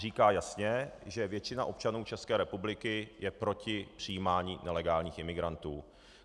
Říká jasně, že většina občanů České republiky je proti přijímání nelegálních imigrantů.